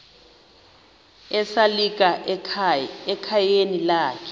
esalika ekhayeni lakhe